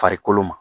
Farikolo ma